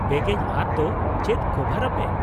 -ᱵᱮᱜᱮᱡ ᱟᱫ ᱫᱚ ᱪᱮᱫ ᱠᱚᱵᱷᱟᱨᱟᱯᱮ ?